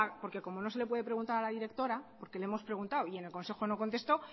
porque como no se le puede preguntar a la directora porque le hemos preguntado y en el consejo no contestó